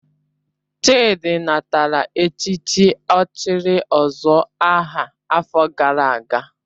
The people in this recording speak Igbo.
Chidi natara echichi ochiri ozuor aha afo gara aga